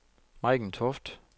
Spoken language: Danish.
Maiken Toft